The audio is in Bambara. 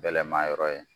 Bɛlɛma yɔrɔ ye